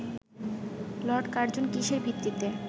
Lord Curzon কিসের ভিত্তিতে